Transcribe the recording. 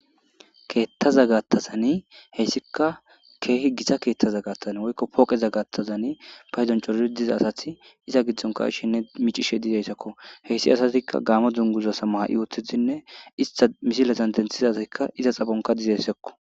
keettaza gaattazani heyssika keehi gita keethtaza gaattazn woykko pooqeza gaattazani paydonchoro diza asath iza giddonka ishinne micishe dideyssakko heyssi asatikka gaamo dunguzasa maha7i wothidinne ista misilezan denthizazikka iza xafonka dizessekko